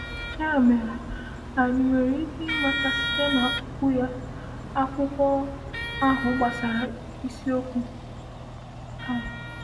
“Ya mere, anyị nwere ike ịmụta site na Okwu Ya, akwụkwọ ahụ gbasara isiokwu a?”